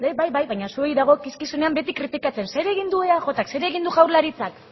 bai bai baina zuoi dagozkizuenean beti kritikatzen zer egin du eajk zer egin du jaurlaritzak